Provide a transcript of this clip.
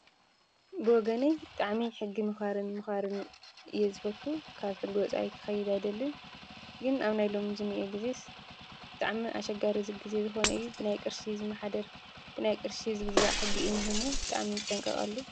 ብወገነይ ጥዕሚ ሕጊ ምዃርን ምዃርን እየ ዝፈቱ ካብ ሕጐፃይ ክኸይድ ኣይደልን ግን ኣብ ናይ ኢሎም ዝሚእየ ጊዜ ብጥዕሚ ኣሸጋር እዝ ጊዜ ዝኾነ እዩ ብናይ ቕርሺ ዝመኃደር ብናይ ቕርሺ ዝግዛዕ ሕጊ ኢን የሙ ብጣዕሚን ዝጠንቀቐሉ።